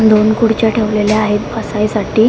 दोन खुर्च्या ठेवलेल्या आहेत बसाय साठी --